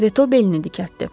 Reto belini dikəltdi.